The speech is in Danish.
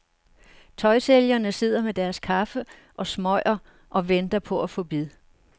Tøjsælgerne sidder med deres kaffe og smøger og venter på at få bid.